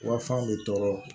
Wa fan bɛ tɔɔrɔ